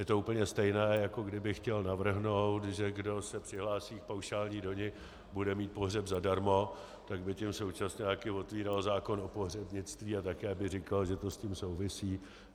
Je to úplně stejné, jako kdybych chtěl navrhnout, že kdo se přihlásí k paušální dani, bude mít pohřeb zadarmo, tak by tím současně taky otvíral zákon o pohřebnictví a také by říkal, že to s tím souvisí.